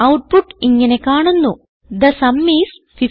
output ഇങ്ങനെ കാണുന്നു the sum is 15